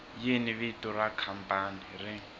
yini vito ra khampani ri